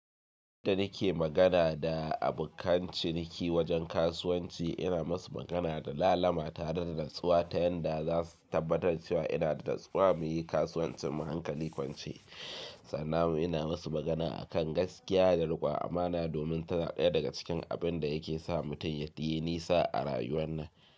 Da nike magana da abokan ciniki wajen kasuwanci ina musu magana da lalama tare da tatsuwa ta yanda za su tabbatar cewa ina da tatsuwa muyi kasuwancin mu hankali kwance. Sannan mu ina musu magana a kan gaskiya da riƙuwa amana domin ta daya daga cikin abin da yake sa mutum ya yayi nisa a rayuwar nan.